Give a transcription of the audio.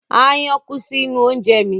Aáyán kú sí inú oúnje mi.